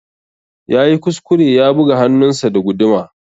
Yayi kuskure ya buga hannunsa da guduma.